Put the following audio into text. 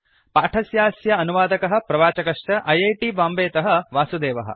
पाठस्यास्य अनुवादकः प्रवाचकश्च ऐ ऐ टी बाम्बेतः वासुदेवः